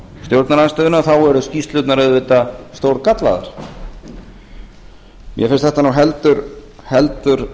stjórnarandstöðunni þá eru skýrslurnar auðvitað stórgallaðar mér finnst þetta nú heldur